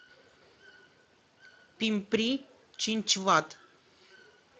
пимпри чинчвад